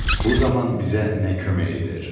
Bu zaman bizə nə kömək edir?